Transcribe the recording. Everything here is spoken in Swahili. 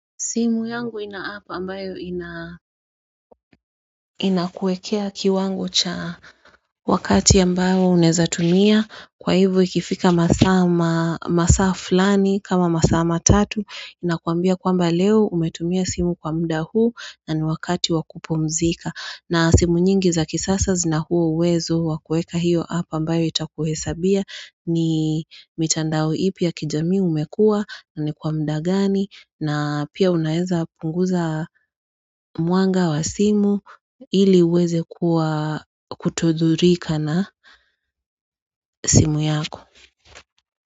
Simu yangu inaapa ambayo inakuekea kiwango cha Wakati ambayo uneza tumia kwa hivu ikifika masama masaflani kama masama tatu inakuambia kwamba leo umetumia simu kwa muda huu na ni wakati wakupomzika na simu nyingi za kisasa zina huo uwezo wakueka hiyo apa ambayo itakuhesabia ni mitandao ipi ya kijamii umekua ni kwa muda gani na pia unaeza punguza mwanga wa simu ili uweze kuwa kutodhurika na simu yako.